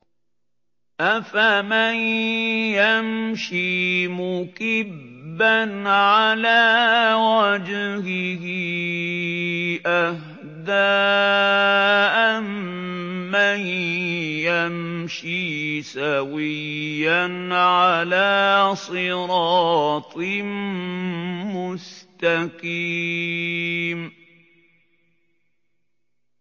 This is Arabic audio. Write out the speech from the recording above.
أَفَمَن يَمْشِي مُكِبًّا عَلَىٰ وَجْهِهِ أَهْدَىٰ أَمَّن يَمْشِي سَوِيًّا عَلَىٰ صِرَاطٍ مُّسْتَقِيمٍ